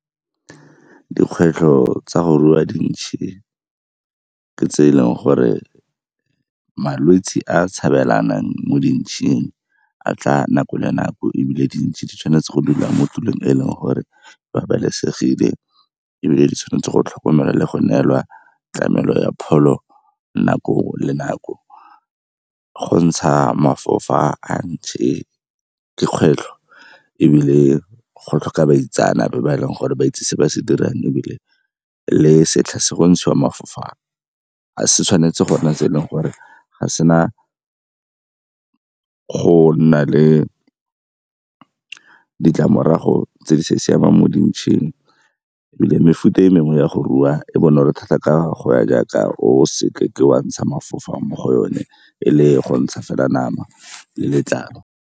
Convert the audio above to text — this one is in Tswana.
Dikgwetlho tsa go rua dintšhe ke tse e leng gore malwetse a a tshabelanang mo dintšheng a tla nako le nako ebile dintšhe di tshwanetse go dula mo tulong e leng gore babalesegile ebile di tshwanetse go tlhokomela le go neelwa tlamelo ya pholo nako le nako. Go ntsha mafofa a ntšhe ke kgwetlho ebile go tlhoka baitsanape ba e leng gore ba itse se ba se dirang ebile le setlha se go ntshiwa mafofa ga se tshwanetse go nna se e leng gore ga o sena go nna le ditlamorago tse di sa siamang mo dintšheng. Ebile mefuta e mengwe ya go rua e bonolo thata ka go ya jaaka o seke wa ntsha mafofa mo go yone e le go ntsha fela nama letlalo.